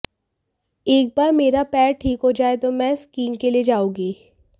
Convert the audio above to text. एक बार मेरा पैर ठीक हो जाए तो मैं स्कीइंग के लिए जाऊंगी